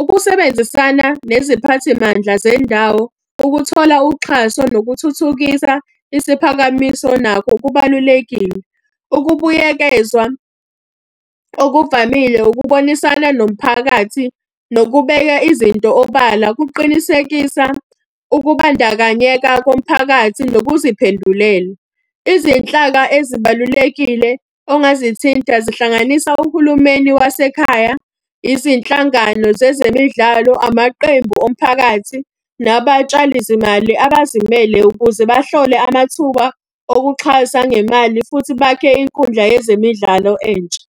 Ukusebenzisana neziphathimandla zendawo, ukuthola uxhaso nokuthuthukisa isiphakamiso nakho kubalulekile. Ukubuyekezwa okuvamile ukubonisana nomphakathi nokubeka izinto obala, kuqinisekisa ukubandakanyeka komphakathi nokuziphendulela. Izinhlaka ezibalulekile ongazithinta zihlanganisa uhulumeni wasekhaya, izinhlangano zezemidlalo, amaqembu omphakathi, nabatshali zimali abazimele ukuze bahlole amathuba okuxhasa ngemali, futhi bakhe inkundla yezemidlalo entsha.